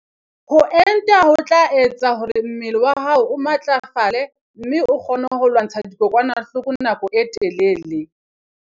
Ho enta ho tla etsa hore mmele wa hao o matlafale mme o kgone ho lwantsha dikokwanahloko nako e telele.